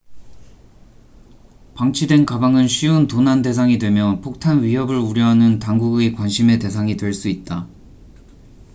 방치된 가방은 쉬운 도난 대상이 되며 폭탄 위협을 우려하는 당국의 관심의 대상이 될 수 있다